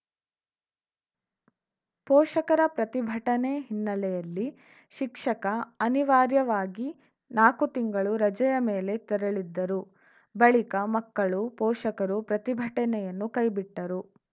ಪೋಷಕರ ಪ್ರತಿಭಟನೆ ಹಿನ್ನೆಲೆಯಲ್ಲಿ ಶಿಕ್ಷಕ ಅನಿವಾರ್ಯವಾಗಿ ನಾಕು ತಿಂಗಳು ರಜೆಯ ಮೇಲೆ ತೆರಳಿದ್ದರು ಬಳಿಕ ಮಕ್ಕಳು ಪೋಷಕರು ಪ್ರತಿಭಟನೆಯನ್ನು ಕೈಬಿಟ್ಟರು